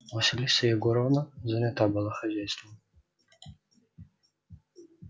василиса егоровна занята была хозяйством